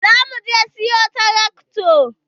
Za mu zo muje siyo tarakta.